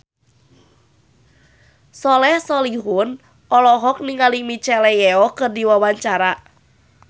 Soleh Solihun olohok ningali Michelle Yeoh keur diwawancara